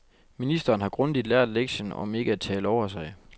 Ministeren har grundigt lært lektien om ikke at tale over sig.